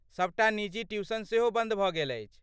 सभटा निजी ट्यूशन सेहो बन्द भऽ गेल अछि।